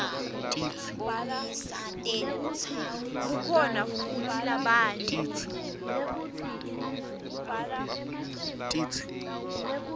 kukhona futsi labanye